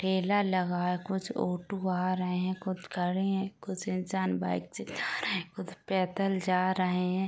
ठेला लगा है कुछ ऑटो आ रहे है कुछ खड़े है कुछ इंसान बाइक से जा रहे है कुछ पैदल जा रहे हैं।